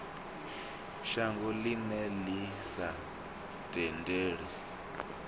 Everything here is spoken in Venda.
shango ḽine ḽi sa tendele